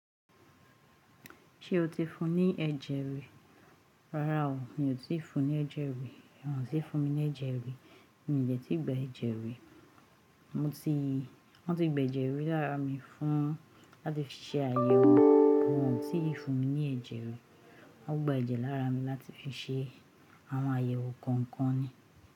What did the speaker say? Ṣé o ti fún ní ẹ̀jẹ̀ rí? Rárá o, mi ò tí ì fún ní ẹ̀jẹ̀ rí, wọn ò tí ì fún mi ní ẹ̀jẹ̀ rí. Mi ò dẹ̀ tí ì gba ẹ̀jẹ̀ rí. Mo ti. Wọ́n ti gba ẹ̀jẹ̀ rí lára mi fún láti fi ṣe àyẹ̀wò, wọ́n ò tí ì fún mi ní ẹ̀jẹ̀ rí. Wọ́n gba ẹ̀jẹ̀ lára mi láti fi ṣe àwọn àyẹ̀wò kọ̀ọ̀kan ni.